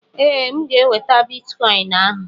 Ee, M ga-enweta bitikọin ahụ.